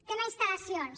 tema de instal·lacions